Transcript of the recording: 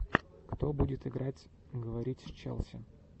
когда будет играть говорить с челси